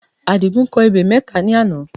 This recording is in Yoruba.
Àdìgún kọ ebè mẹ́ta ní àná